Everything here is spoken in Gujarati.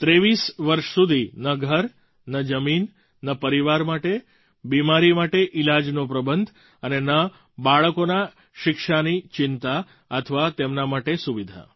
23 વર્ષ સુધી ન ઘર ન જમીન ન પરિવાર માટે બીમારી માટે ઈલાજનો પ્રબંધ અને ન બાળકોના શિક્ષાની ચિંતા અથવા તેમના માટે સુવિધા